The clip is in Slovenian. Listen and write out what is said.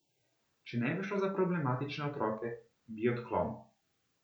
Če ne bi šlo za problematične otroke, bi odklonu.